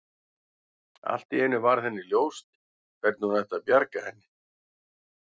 Allt í einu varð henni ljóst hvernig hún ætti að bjarga henni.